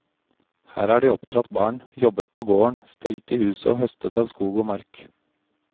Her har de oppdratt barn, jobbet på gården, stelt i huset og høstet av skog og mark.